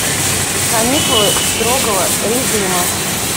каникулы строгого режима